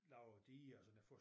Lavet diger og sådan for